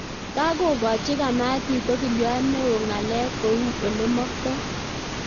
Kagogochi kamatit ogiliot neo ngalek kou ole maktoi